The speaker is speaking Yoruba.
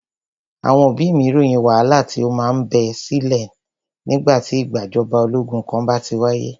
Àwọn òbí mí ròyìn wàhálà tí o má ń bẹ sílẹ̀ nígbà tí ìgbàjọba ológun kan bá ti wáyé.